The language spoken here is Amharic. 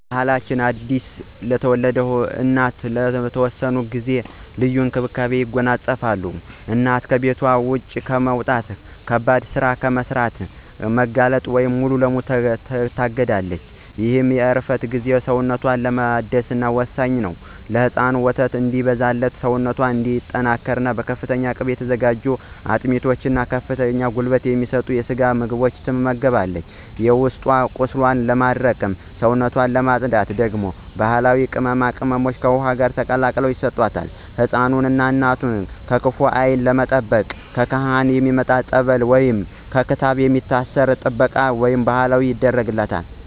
ባሕላችን አዲስ ለወለደች እናት ለተወሰነ ጊዜ ልዩ እንክብካቤን ያጎናጽፋል። እናት ከቤት ውጭ ከመውጣት፣ ከባድ ሥራ ከመሥራትና ከብርድ መጋለጥ ሙሉ በሙሉ ትታገዳለች። ይህ የእረፍት ጊዜ ሰውነቷን ለማደስ ወሳኝ ነው። ለሕፃኑ ወተት እንዲበዛላትና ሰውነቷ እንዲጠናከር በፍተኛ ቅቤ የተዘጋጁ አጥሚት እና ከፍተኛ ጉልበት የሚሰጡ የስጋ ምግቦች ትመገባለች። የውስጥ ቁስሏን ለማድረቅና ሰውነቷን ለማፅዳት ደግሞ ባሕላዊ ቅመማ ቅመሞች ከውኃ ጋር ተቀላቅለው ይሰጣሉ። ሕፃኑንና እናቱን ከክፉ ዓይን ለመጠበቅ ካህናት ያመጡት የፀሎት ውኃ ወይንም በክር/ክታብ የሚታሰሩ ጥበቃዎች በባሕል ይደረጋሉ።